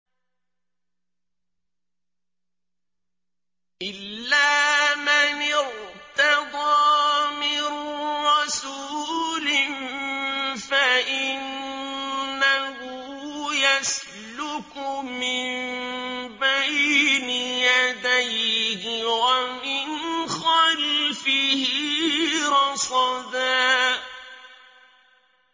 إِلَّا مَنِ ارْتَضَىٰ مِن رَّسُولٍ فَإِنَّهُ يَسْلُكُ مِن بَيْنِ يَدَيْهِ وَمِنْ خَلْفِهِ رَصَدًا